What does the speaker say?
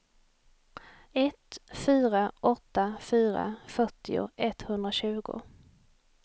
ett fyra åtta fyra fyrtio etthundratjugo